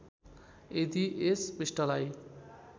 यदि यस पृष्ठलाई